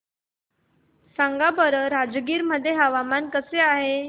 सांगा बरं राजगीर मध्ये हवामान कसे आहे